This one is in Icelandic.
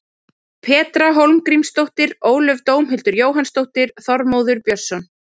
Petra Hólmgrímsdóttir Ólöf Dómhildur Jóhannsdóttir Þormóður Björnsson